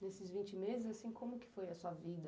Nesses vinte meses, como foi a sua vida?